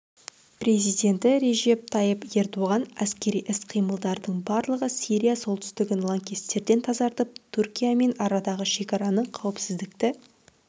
президенті режеп тайып ердоған әскери іс-қимылдардың барлығы сирия солтүстігін лаңкестерден тазартып түркиямен арадағы шекарада қауіпсіздікті